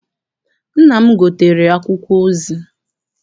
Nna m gotere akwụkwọ ozi.